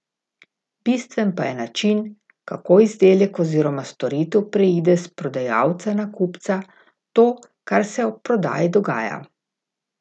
Bistven pa je način, kako izdelek oziroma storitev preide s prodajalca na kupca, to, kar se ob prodaji dogaja.